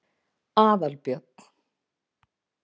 Aðalbjörn